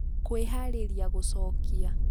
kwĩharĩria gũcokia